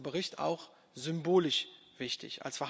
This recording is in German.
Darum ist dieser Bericht auch symbolisch wichtig.